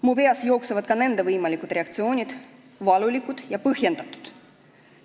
Mu peast jooksevad läbi ka nende inimeste võimalikud reaktsioonid, valulikud ja põhjendatud.